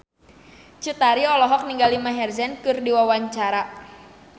Cut Tari olohok ningali Maher Zein keur diwawancara